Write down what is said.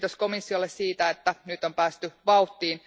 Kiitos komissiolle siitä, että nyt on päästy vauhtiin.